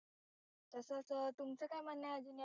तसच तुमचं काय म्हणणं अजून यावर